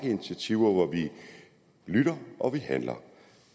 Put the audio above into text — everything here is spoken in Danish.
initiativer hvor vi lytter og vi handler